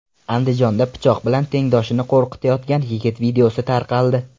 Andijonda pichoq bilan tengdoshini qo‘rqitayotgan yigit videosi tarqaldi.